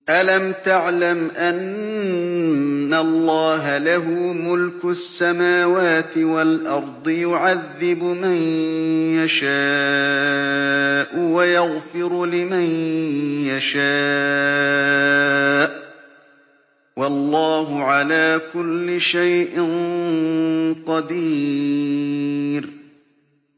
أَلَمْ تَعْلَمْ أَنَّ اللَّهَ لَهُ مُلْكُ السَّمَاوَاتِ وَالْأَرْضِ يُعَذِّبُ مَن يَشَاءُ وَيَغْفِرُ لِمَن يَشَاءُ ۗ وَاللَّهُ عَلَىٰ كُلِّ شَيْءٍ قَدِيرٌ